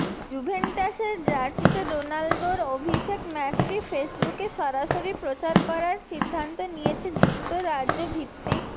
জুভেন্টাসের জার্সিতে রোনালদোর অভিষেক ম্যাচটি ফেসবুকে সরাসরি প্রচার করার সিদ্ধান্ত নিয়েছে যুক্তরাজ্যভিত্তিক